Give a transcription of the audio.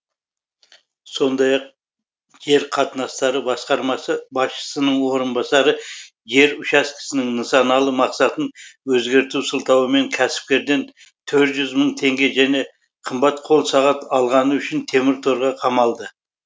сондай ақ жер қатынастары басқармасы басшысының орынбасары жер учаскесінің нысаналы мақсатын өзгерту сылтауымен кәсіпкерден төрт мың теңге және қымбат қол сағат алғаны үшін темір торға қамалды